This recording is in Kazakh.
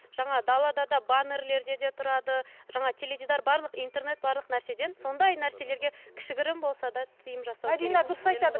жаңа далада да баннерлерде де тұрады жаңа теледидар барлық интернет барлық нәрседен сондай нәрселерге кішігірім болса да тиым жасау мәдина дұрыс айтады